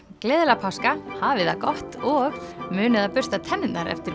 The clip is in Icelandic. gleðilega páska hafið það gott og munið að bursta tennurnar eftir